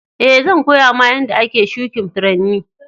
Eh, zan koya ma yadda ake shukin Furanni.